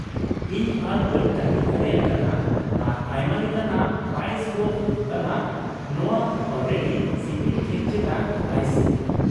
ᱤᱧ ᱟᱨ ᱵᱟᱹᱧ ᱛᱟᱺᱜᱤ ᱫᱟᱲᱮᱭᱟᱜ ᱠᱟᱱᱟ, ᱟᱨ ᱟᱭᱢᱟ ᱞᱮᱠᱟᱱᱟᱜ ᱯᱟᱭᱮᱥ ᱠᱚ ᱦᱩᱭᱩᱜ ᱠᱟᱱᱟ ᱚᱱᱶᱟ ᱚᱞᱨᱮᱰᱤ ᱥᱤᱵᱤᱞ ᱠᱮᱠ ᱪᱮᱛᱟᱱ ᱟᱭᱥᱤᱝ ᱾